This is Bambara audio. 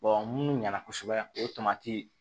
munnu ɲɛna kosɛbɛ o tamati